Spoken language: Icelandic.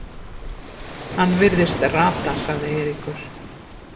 Hann virðist rata sagði Eiríkur.